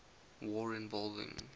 war involving